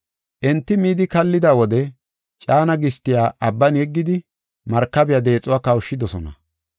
Enti midi kallida wode caana gistiya abban yeggidi markabiya deexuwa kawushidosona.